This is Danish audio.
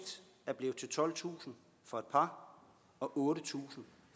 er blevet til tolvtusind for et par og otte tusind